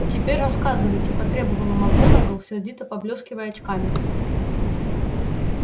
теперь рассказывайте потребовала макгонагалл сердито поблескивая очками